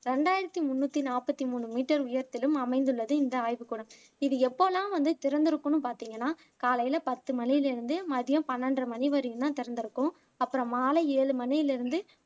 ரெண்டாயிரத்தி முன்னூத்தி நாப்பத்தி மூணு மீட்டர் உயரத்திலும் அமைந்துள்ளது இந்த ஆய்வுக்கூடம் இது எப்போலாம் வந்து திறந்திருக்குன்னு பாத்திங்கன்னா காலைல பத்து மணியில இருந்து மதியம் பன்னெண்டரை மணி வரையும் தான் திறந்திருக்கும் அப்பறம் மாலை ஏழு மணியில இருந்து